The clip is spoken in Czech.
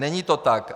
Není to tak.